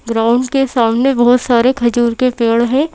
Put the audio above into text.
Ground के सामने बहुत सारे खजूर के पेड़ हैं।